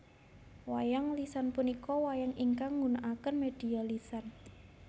Wayang lisan punika wayang ingkang nggunaaken media lisan